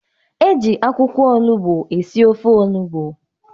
Eji akwụkwọ olugbu esi ofe olugbu.